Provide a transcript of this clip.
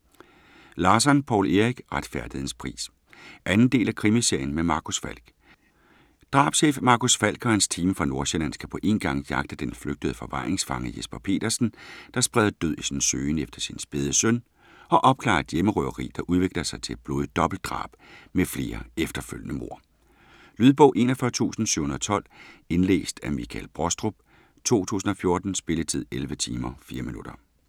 Larsson, Poul Erik: Retfærdighedens pris 2. del af krimiserien med Marcus Falck. Drabschef Marcus Falck og hans team fra Nordsjælland skal på én gang jagte den flygtede forvaringsfange Jesper Petersen, der spreder død i sin søgen efter sin spæde søn, og opklare et hjemmerøveri, der udvikler sig til et blodigt dobbeltdrab med flere efterfølgende mord. Lydbog 41712 Indlæst af Michael Brostrup, 2014. Spilletid: 11 timer, 4 minutter.